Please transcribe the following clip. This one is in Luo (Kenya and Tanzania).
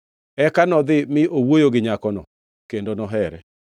Eka nodhi mi owuoyo gi nyakono, kendo nohere.